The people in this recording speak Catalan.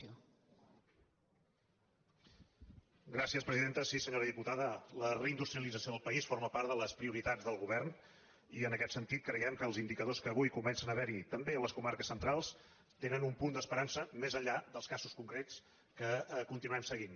sí senyora diputada la reindus·trialització del país forma part de les prioritats del go·vern i en aquest sentit creiem que els indicadors que avui comencen a haver·hi també a les comarques cen·trals tenen un punt d’esperança més enllà dels casos concrets que continuem seguint